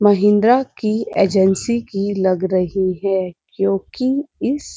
महेन्द्रा की एजेंसी की लग रही है क्योंकि इस --